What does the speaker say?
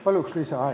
Palun lisaaega!